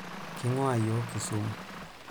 King'uaa yiok Kisumu.